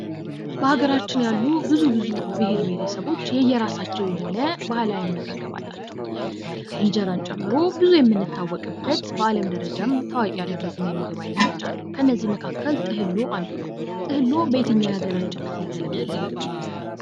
በሀገራችን ያሉ ብዙ ብዙ ብሄር ብሄረሰቦች የራሳቸው የሆነ ባህላዊ አመጋገብ አላቸው። እንጀራን ጨምሮ ብዙ የምንታወቅበት በአለም ደረጃም ታዋቂ ያደረጉን የምግብ ዓይነቶች አሉ። ከነዚህም መካከል ጥህሎ አንዱ ነው። ጥህሎ በየትኛው የሀገራችን ክፍል የተለመደ ምግብ ነው?